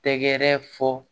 Tɛgɛrɛ fɔ